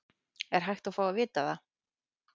Er hægt að fá að vita það?